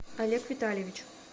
олег витальевич